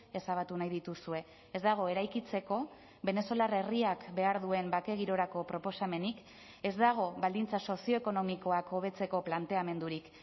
ezabatu nahi dituzue ez dago eraikitzeko venezuelar herriak behar duen bake girorako proposamenik ez dago baldintza sozioekonomikoak hobetzeko planteamendurik